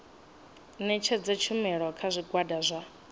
ṋetshedza tshumelo kha zwigwada zwa